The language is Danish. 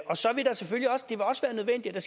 og så vil det selvfølgelig også være nødvendigt at